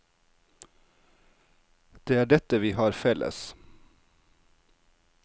Det er dette vi har felles.